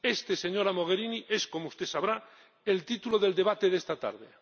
Este, señora Mogherini, es, como usted sabrá, el título del debate de esta tarde.